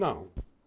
Não.